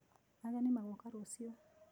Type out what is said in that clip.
Ageni magoka rũciũ.